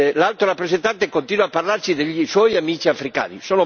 L'Alto rappresentante continua a parlarci dei suoi amici africani